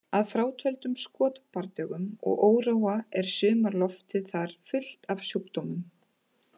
Að frátöldum skotbardögum og óróa er sumarloftið þar fullt af sjúkdómum